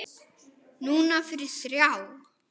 Núna fyrir þrjá.